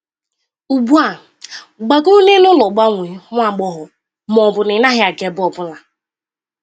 “Ugbu a, gbagoro n'elu ụlọ gbanwee, nwa agbọghọ, ma ọ bụ na ị gaghị aga ebe ọ bụla!”